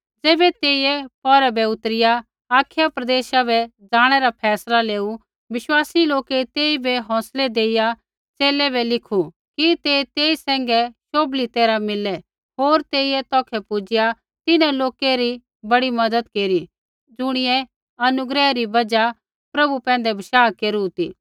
ज़ैबै तेइयै पौरै बै उतरिआ अखाया प्रदेशा बै ज़ाणै रा फैसला लेऊ बिश्वासी लोकै तेइबै हौंसलै देइया च़ेले बै लिखू कि ते तेई सैंघै शोभली तैरहा मिललै होर तेइयै तौखै पुजिआ तिन्हां लोकै री बड़ी मज़त केरी ज़ुणियै अनुग्रह री बजहा प्रभु पैंधै विश्वास केरू ती